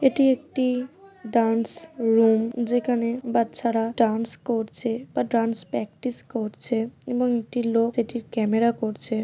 এটি একটি dance room যেখানে বাচ্চারা ডান্স করছে বা ডান্স প্র্যাকটিস করছে এবং একটি লোক সেটির ক্যামেরা করছে।